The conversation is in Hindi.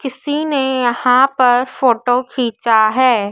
किसी ने यहां पर फोटो खींचा है।